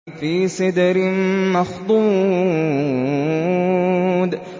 فِي سِدْرٍ مَّخْضُودٍ